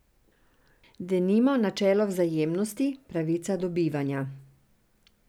Denimo načelo vzajemnosti, pravica do bivanja...